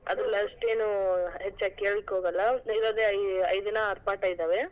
ಅಷ್ಟೇನೂ ಹೆಚ್ಚಾಗಿ ಕೇಳಲಿಕ್ಕೆ ಹೋಗಲ್ಲ, ಇರೋದೇ ಐ ಐದೇನೋ ಆರ್ ಪಾಠ ಇದಾವೆ.